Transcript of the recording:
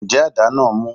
Ǹjẹ́ adá náà mú?